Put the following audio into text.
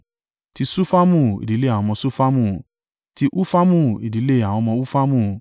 ti Ṣufamu, ìdílé àwọn ọmọ Ṣufamu; ti Hufamu, ìdílé àwọn ọmọ Hufamu.